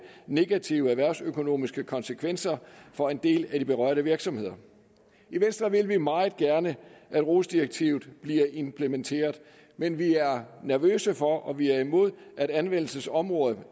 negative erhvervsøkonomiske konsekvenser for en del af de berørte virksomheder i venstre vil vi meget gerne at rohs direktivet bliver implementeret men vi er nervøse for og vi er imod at anvendelsesområdet